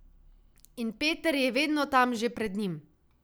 In Peter je vedno tam že pred njim.